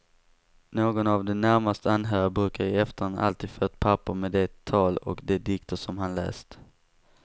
Någon av de närmast anhöriga brukar i efterhand alltid få ett papper med det tal och de dikter som han läst.